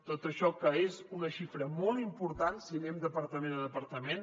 tot això que és una xifra molt important si anem departament a departament